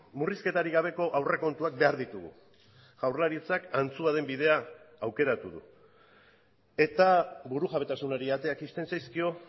murrizketarik gabeko aurrekontuak behar ditugu jaurlaritzak antzua den bidea aukeratu du eta burujabetasunari ateak ixten zaizkio